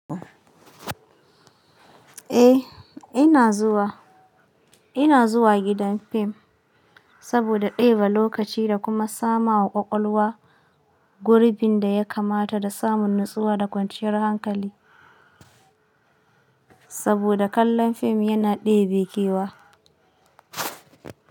Eh ina zuwa ina zuwa gidan fim saboda ɗeba lokaci da kuma sama wa ƙwaƙwalwa gurbin da ya kamata da samun natsuwa da kwanciyar hankali. Saboda kallon fim yana ɗebe kewa.